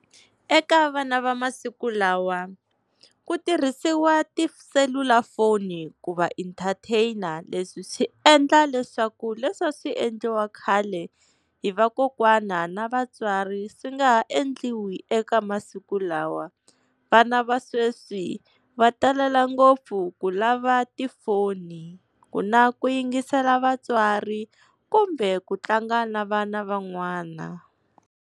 Eka vana va masiku lawa ku tirhisiwa tiselulafoni ku va entertain. Leswi swi endla leswaku leswi a swi endliwa khale hi vakokwana na vatswari swi nga ha endliwi eka masiku lawa. Vana va sweswi va talela ngopfu ku lava tifoni, ku na ku yingisela vatswari kumbe ku tlanga na vana van'wana.